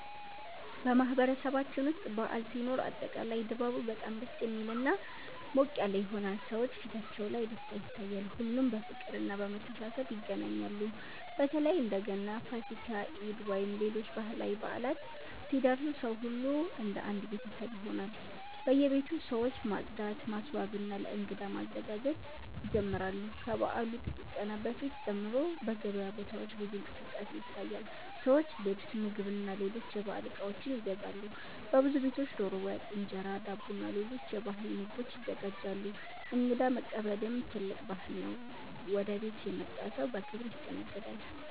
በማህበረሰባችን ውስጥ በዓል ሲኖር አጠቃላይ ድባቡ በጣም ደስ የሚልና ሞቅ ያለ ይሆናል። ሰዎች ፊታቸው ላይ ደስታ ይታያል፣ ሁሉም በፍቅርና በመተሳሰብ ይገናኛሉ። በተለይ እንደ ገና፣ ፋሲካ፣ ኢድ ወይም ሌሎች ባህላዊ በዓላት ሲደርሱ ሰው ሁሉ እንደ አንድ ቤተሰብ ይሆናል። በየቤቱ ሰዎች ማጽዳት፣ ማስዋብና ለእንግዳ መዘጋጀት ይጀምራሉ። ከበዓሉ ጥቂት ቀናት በፊት ጀምሮ በገበያ ቦታዎች ብዙ እንቅስቃሴ ይታያል፤ ሰዎች ልብስ፣ ምግብና ሌሎች የበዓል እቃዎች ይገዛሉ። በብዙ ቤቶች ዶሮ ወጥ፣ እንጀራ፣ ዳቦና ሌሎች የባህል ምግቦች ይዘጋጃሉ። እንግዳ መቀበልም ትልቅ ባህል ነው፤ ወደ ቤት የመጣ ሰው በክብር ይስተናገዳል።